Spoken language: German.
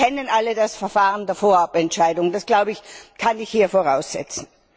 Sie kennen alle das Verfahren der Vorabentscheidung, das glaube ich, kann ich hier voraussetzen.